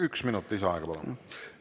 Üks minut lisaaega, palun!